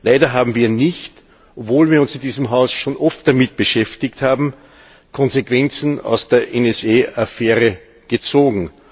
Leider haben wir, obwohl wir uns in diesem Haus schon oft damit beschäftigt haben, keine Konsequenzen aus der NSA Affäre gezogen.